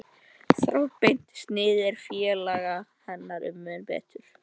Þráðbeint sniðið fór félaga hennar mun betur.